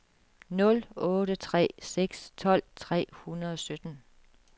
nul otte tre seks tolv tre hundrede og sytten